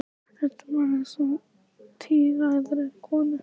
Röddin var eins og í tíræðri konu.